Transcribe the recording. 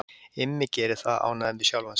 Immi gerir það, ánægður með sjálfan sig.